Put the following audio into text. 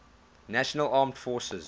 national armed forces